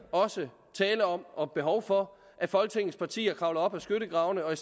tale om og behov for at folketingets partier kravler op af skyttegraven og